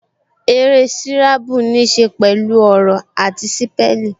Eré sírábù ní ṣe pẹ̀lú ọ̀rọ̀ àti sípẹ́lìn